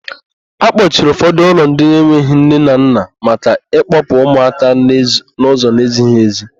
Akpọchiri ụfọdụ ụlọ ndị enweghị nne na nna maka ịkpọpụ ụmụaka n'ụzọ n'ezighị èzí.